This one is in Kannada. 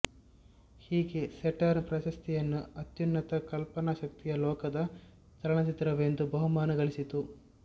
ಹೀಗೆ ಸೇಟರ್ನ್ ಪ್ರಶಸ್ತಿಯನ್ನು ಅತ್ಯುನ್ನತ ಕಲ್ಪನಾಶಕ್ತಿಯ ಲೋಕದ ಚಲನಚಿತ್ರವೆಂದು ಬಹುಮಾನ ಗಳಿಸಿತ್ತು